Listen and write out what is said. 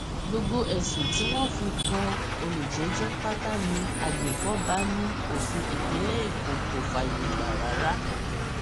gbogbo ẹsùn tí wọn fi kan olùjẹjọ pátá ní agbèfọba ní òfin ìpínlẹ èkó kò fààyè gbà rárá